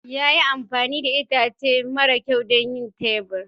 Ya yi amfani da itace mara kyau don yin tebur.